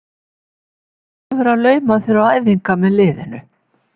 Ertu sjálfur að lauma þér á æfingar með liðinu?